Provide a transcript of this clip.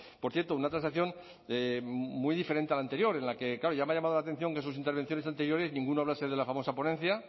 por cierto una transacción muy diferente al anterior en la que claro ya me ha llamado la atención que en sus intervenciones anteriores ninguno hablase de la famosa ponencia